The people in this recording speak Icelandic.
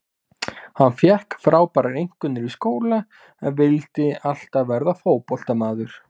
Hann fékk frábærar einkunnir í skóla en vildi alltaf verða fótboltamaður.